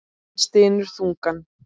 Hann stynur þungan.